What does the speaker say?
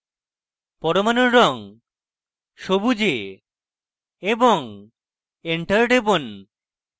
পরমাণুর রঙ সবুজে এবং enter টিপুন